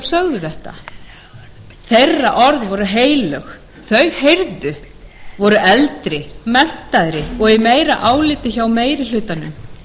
sögðu þetta orð þeirra voru heilög þau heyrðu voru eldri menntaðri og í meira áliti hjá meiri hlutanum